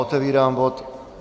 Otevírám bod